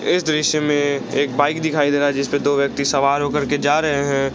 इस दृश्य में एक बाइक दिखाई दे रहा है जिसपर दो व्यक्ति सवार हो करके जा रहे हैं।